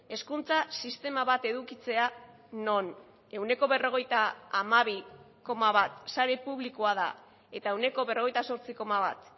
hezkuntza sistema bat edukitzea non ehuneko berrogeita hamabi koma bat sare publikoa da eta ehuneko berrogeita zortzi koma bat